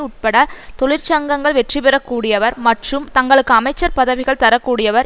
உட்பட தொழிற்சங்கங்கள் வெற்றிபெறக் கூடியவர் மற்றும் தங்களுக்கு அமைச்சர் பதவிகள் தரக்கூடியவர்